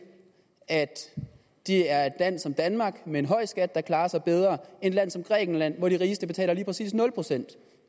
at det er et land som danmark med en høj skat der klarer sig bedre et land som grækenland hvor de rigeste betaler lige præcis nul procent